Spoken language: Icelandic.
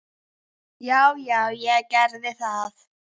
Já, já, ég gerði það.